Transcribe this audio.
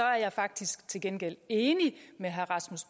jeg faktisk til gengæld enig med herre rasmus